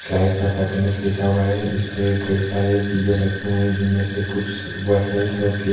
slice of happiness लिखा हुआ है इसपे कई सारे चीजें रखें हुए है जिनमें से कुछ और केक --